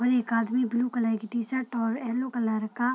और एक आदमी ब्लू कलर की शर्ट और येलो कलर का --